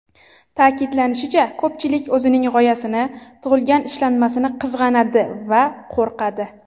Ta’kidlanishicha, ko‘pchilik o‘zining g‘oyasini, tug‘ilgan ishlanmasini qizg‘anadi va qo‘rqadi.